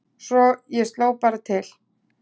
Svo ég sló bara til